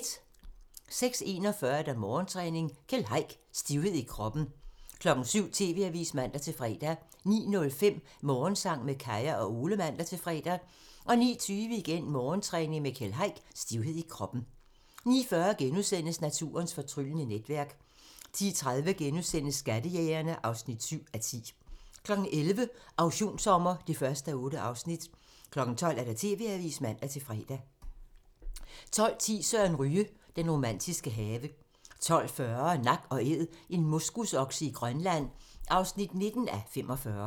06:41: Morgentræning: Keld Heick - Stivhed i kroppen 07:00: TV-avisen (man-fre) 09:05: Morgensang med Kaya og Ole (man-fre) 09:20: Morgentræning: Keld Heick - Stivhed i kroppen 09:40: Naturens fortryllende netværk * 10:30: Skattejægerne (7:10)* 11:00: Auktionssommer (1:8) 12:00: TV-avisen (man-fre) 12:10: Søren Ryge: Den romantiske have 12:40: Nak & Æd - en moskusokse i Grønland (19:45)